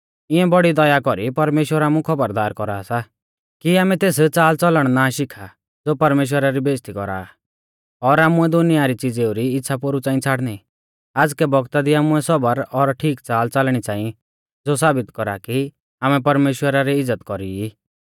इऐं बौड़ी दया कौरी परमेश्‍वर आमु खौबरदार कौरा सा कि आमै तेस च़ालच़लण ना शिखा ज़ो परमेश्‍वरा री बेइज़्ज़ती कौरा आ और आमुऐ दुनिया री च़िज़ेऊ री इच़्छ़ा पोरु च़ांई छ़ाड़णी आज़कै बौगता दी आमुऐ सबर और ठीक च़ाल च़ालणी च़ांई ज़ो साबित कौरा कि आमै परमेश्‍वरा री इज़्ज़त कौरी ई